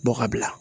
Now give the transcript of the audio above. Bɔ ka bila